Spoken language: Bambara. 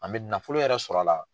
An bɛ nafolo yɛrɛ sɔrɔ a la.